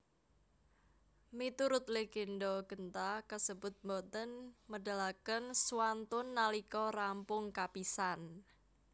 Miturut legenda genta kasebut boten medalaken swantun nalika rampung kapisan